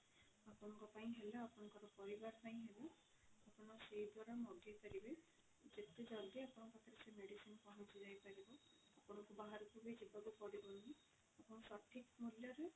ଆପଣଙ୍କ ପାଇଁ ହେଲା ଆପଣଙ୍କ ପରିବାର ପାଇଁ ହେଲା ଆପଣ ସେଇ ଦ୍ଵାରା ମଗେଇ ପାରିବେ ଯେତେ ଜଲ୍ଦି ଆପଣଙ୍କ ପାଖରେ ସେ medicine ପହଞ୍ଚି ଯାଇ ପାରିବ ଆପଣଙ୍କୁ ବାହାରକୁ ବି ଯିବାକୁ ପଡିବନି ଆପଣ ସଠିକ ମୂଲ୍ୟ ରେ